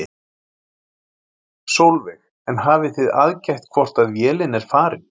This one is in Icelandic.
Sólveig: En hafið þið aðgætt hvort að vélin er farin?